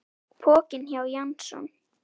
Pokinn hjá Jason